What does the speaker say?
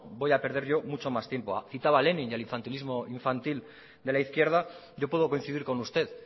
voy a perder yo mucho más tiempo citaba lenin el infantilismo infantil de la izquierda yo puedo coincidir con usted